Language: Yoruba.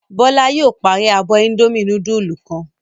Bọ́lá yóò parí abọ́ Indomie núdúlù kan.